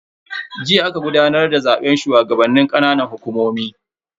Jiya aka gudanar da zaben shugabannin ƙananan hukumomi.